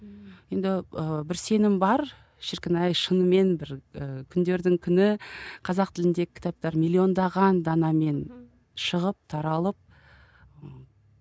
енді ы бір сенім бар шіркін ай шынымен бір ы күндердің күні қазақ тіліндегі кітаптар миллиондаған данамен шығып таралып ы